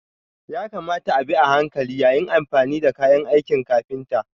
Ya kamata a bi a hankali yayin amfani da kayan aikin kafinta.